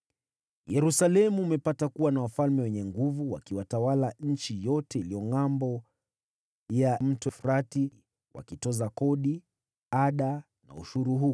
Yerusalemu umepata kuwa na wafalme wenye nguvu wakitawala nchi yote iliyo Ngʼambo ya Mto Frati, wakitoza kodi, ada na ushuru huko.